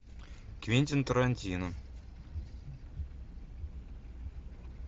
квентин тарантино